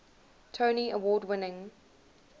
tony award winning